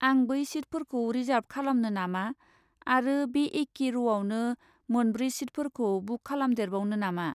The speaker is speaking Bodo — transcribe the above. आं बै सिटफोरखौ रिजार्ब खालामनो नामा आरो बे एके र'आवनो मोनब्रै सिटफोरखौ बुक खालामदेरबावनो नामा?